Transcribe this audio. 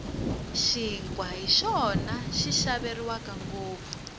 xinkwa hi xona xi xaveriwaka ngopfu